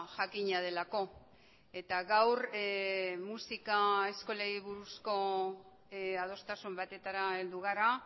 jakina delako eta gaur musika eskolei buruzko adostasun batetara heldu gara